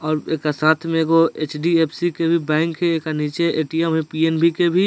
और एकरा साथ में एगो एच.डी.एफ.सी. के भी बैंक के एकर नीचे ए.टी.एम. हेय पी.एन.बी. के भी --